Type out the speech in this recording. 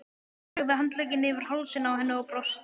Lagði handlegginn yfir hálsinn á henni og brosti.